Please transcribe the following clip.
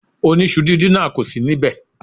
Oníṣu díndín náà kò sì níbẹ̀.